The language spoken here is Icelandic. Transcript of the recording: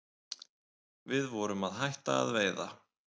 Við vorum að hætta að veiða